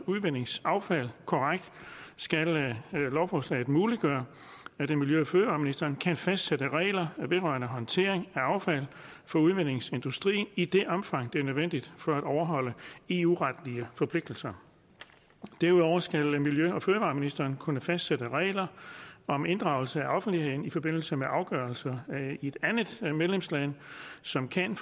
udvindingsaffald korrekt skal lovforslaget muliggøre at miljø og fødevareministeren kan fastsætte regler vedrørende håndtering af affald fra udvindingsindustrien i det omfang det er nødvendigt for at overholde eu retlige forpligtelser derudover skal miljø og fødevareministeren kunne fastsætte regler om inddragelse af offentligheden i forbindelse med afgørelser i et andet medlemsland som kan